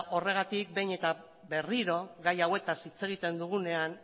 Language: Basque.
horregatik behin eta berriro gai hauetaz hitz egiten dugunean